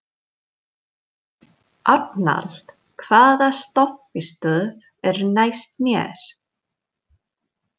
Arnald, hvaða stoppistöð er næst mér?